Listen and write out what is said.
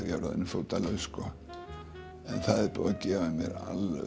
ég er orðinn fótalaus sko en það er búið að gefa mér alveg